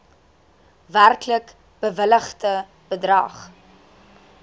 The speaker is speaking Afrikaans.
werklik bewilligde bedrag